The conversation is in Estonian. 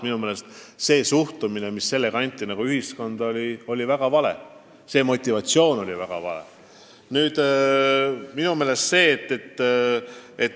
Minu meelest signaal, mis selle piiranguga ühiskonnale anti, oli väga vale.